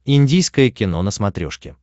индийское кино на смотрешке